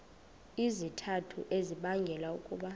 izizathu ezibangela ukuba